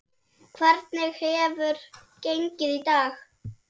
Hvernig hefur gengið í dag?